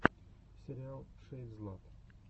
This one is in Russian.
сериал шэйдзлат